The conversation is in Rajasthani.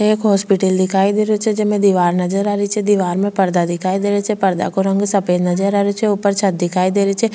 एक हॉस्पिटल दिखाई दे रहियो छे जेमे दिवार नजर आ रही छे दिवार में पर्दा दिखाई दे रिया छे पर्दा को रंग सफ़ेद नजर आ रहियो छे ऊपर छत दिखाई दे रही छे।